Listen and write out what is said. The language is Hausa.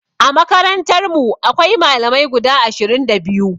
A makarantarmu akwai Malamai guda ashirin da biyu.